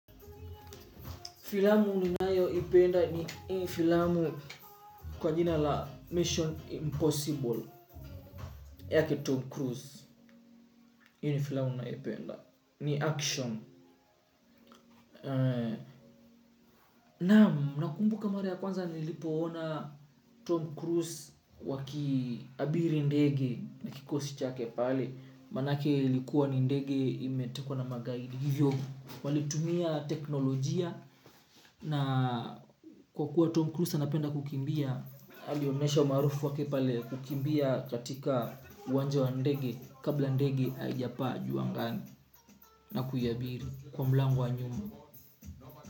Filamu ninayoipenda ni hii filamu kwa jina la Mission Impossible yake Tom Cruise. Hii ni filamu ninayoipenda. Ni action. Naam, nakumbuka mara ya kwanza nilipoona Tom Cruise wakiabiri ndege na kikosi chake pale. Maanake ilikuwa ni ndege imetekwa na magaidi. Hivyo walitumia teknolojia na kwa kuwa Tom Cruise anapenda kukimbia. Alionyesha umaarufu wake pale kukimbia katika uwanja wa ndege kabla ndege haijapaa juu angani. Na kuiabiri kwa mlango wa nyuma.